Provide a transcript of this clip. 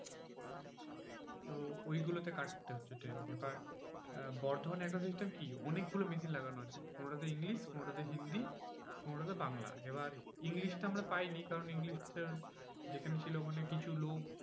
তো ঐগুলো তে কাটতে হচ্ছে ট্রেন। এবার আহ বর্ধমানের একটা system কি? অনেকগুলো machine লাগানো আছে। কোনোটা তে ইংলিশ, কোনোটা তে হিন্দি, কোনোটা তে বাংলা, এবার ইংলিশটা আমরা পাইনি কারণ ইংলিশটা যেখানে ছিল ওখানে কিছু লোক